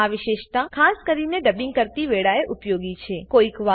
આ વિશેષતા ખાસ કરીને ડબિંગ કરતી વેળાએ ઉપયોગી છે